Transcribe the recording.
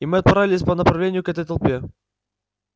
и мы отправились по направлению к этой толпе